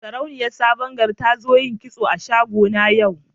Sarauniyar sabon gari ta zo yin kitso a shago na yau.